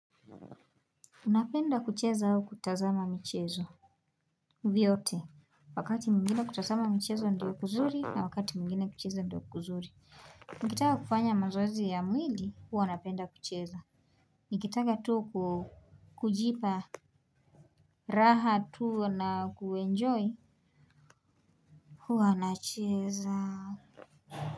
Unapenda kucheza au kutazama mchezo viote wakati mgine kutazama mchezo ndio kuzuri na wakati mgine kucheza ndio kuzuri nikitaka kufanya mazoezi ya mwili huwa napenda kucheza. Nikitaka tu kujipa raha tu na kuenjoy huwa nacheza.